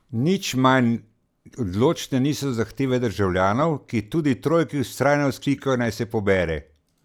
Nič manj odločne niso zahteve državljanov, ki tudi trojki vztrajno vzklikajo, naj se pobere.